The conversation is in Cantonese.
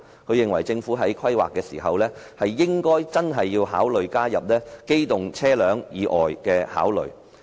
她認為，政府在規劃時應加入對機動車輛以外工具的考慮。